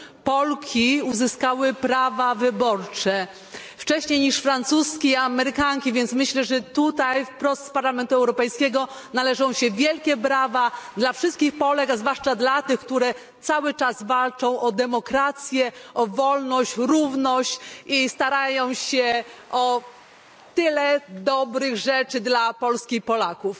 Polki uzyskały prawa wyborcze, wcześniej niż Francuzki czy Amerykanki. Więc myślę, że tutaj, wprost z Parlamentu Europejskiego, należą się wielkie brawa dla wszystkich Polek, a zwłaszcza dla tych, które cały czas walczą o demokrację, o wolność, równość i starają się o tyle dobrych rzeczy dla Polski i Polaków.